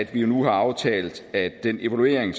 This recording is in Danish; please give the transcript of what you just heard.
vi nu har aftalt at den evaluering